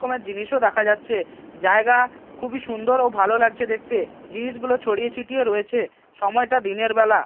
কমের জিনিসও দেখা যাচ্ছে জায়গা খুবই সুন্দর ও ভালো লাগছে দেখতে জিনিসগুলো ছড়িয়ে ছিটিয়ে রয়েছে সময়টা দিনের বেলা।